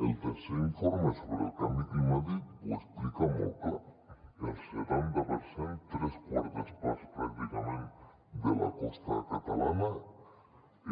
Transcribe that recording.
el tercer informe sobre el canvi climàtic ho explica molt clar el setanta per cent tres quartes parts pràcticament de la costa catalana